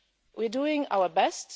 times. We're doing our